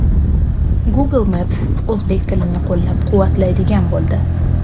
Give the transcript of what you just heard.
Google Maps o‘zbek tilini qo‘llab-quvvatlaydigan bo‘ldi.